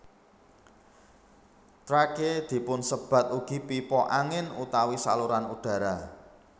Trakea dipunsebat ugi pipa angin utawi saluran udara